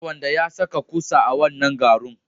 Kar wanda ya saka kusa a wannan garun.